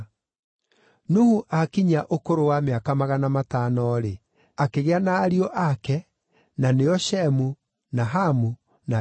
Nuhu aakinyia ũkũrũ wa mĩaka magana matano-rĩ, akĩgĩa na ariũ ake na nĩo Shemu, na Hamu na Jafethu.